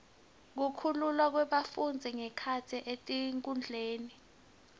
kukhululwa kwebafundzi ngekhatsi etikudlweni